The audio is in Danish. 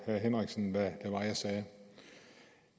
herre henriksen hvad det var jeg sagde